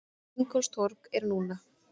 Ingólfstorg er núna.